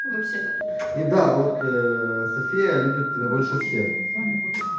вообще-то и да вот ээ софия любит тебя больше всех